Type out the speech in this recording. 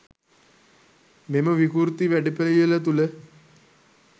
මෙම විකෘති වැඩපිළිවෙළ තුළ